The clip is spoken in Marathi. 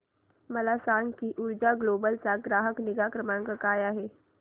मला सांग की ऊर्जा ग्लोबल चा ग्राहक निगा क्रमांक काय आहे